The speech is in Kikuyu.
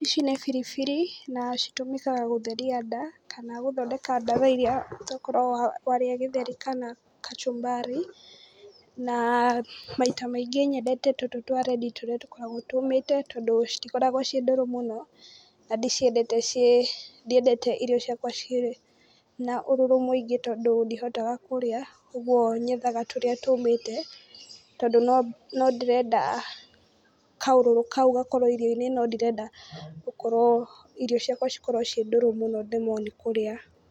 Ici nĩ biribiri na citũmĩkaga gũtheria nda, kana gũthondeka ndawa irĩa tokorwo warĩa gĩtheri kana kachumbari, na maita maingĩ nyendete tũtũ twa red tũrĩa tũkoragwo tũmĩte tondũ citikoragwo ciĩ ndũrũ mũno. Na ndiciendete ciĩ, ndiedete irio ciakwa ciĩna ũrũrũ mũingĩ tondũ ndihotaga kũrĩa. Ũguo nyethaga tũrĩa tũmĩte tondu no ndĩrenda kaũrũrũ kau gakorwo irio-inĩ, no ndirenda gũkorwo irio ciakwa cikorwo ciĩ ndũrũ mũno nemwo nĩ kũrĩa.